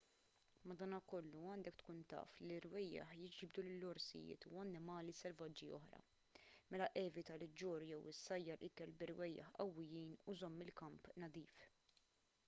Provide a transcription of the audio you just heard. madankollu għandek tkun taf li l-irwejjaħ jiġbdu lill-orsijiet u annimali selvaġġi oħra mela evita li ġġorr jew issajjar ikel b'irwejjaħ qawwijin u żomm il-kamp nadif